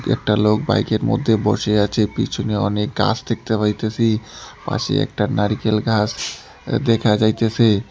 একটা লোক বাইকের মধ্যে বসে আছে পিছনে অনেক গাস দেখতে পাইতাসি পাশে একটা নারিকেল গাছ আঃ দেখা যাইতেসে।